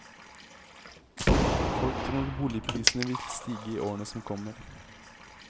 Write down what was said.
Folk tror boligprisene vil stige i årene som kommer.